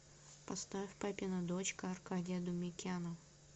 поставь папина дочка аркадия думикяна